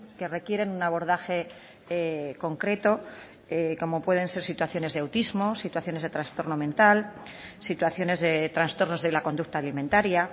que requieren un abordaje concreto como pueden ser situaciones de autismo situaciones de trastorno mental situaciones de trastornos de la conducta alimentaria